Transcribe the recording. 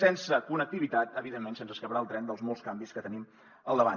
sense connectivitat evidentment se’ns escaparà el tren dels molts canvis que tenim al davant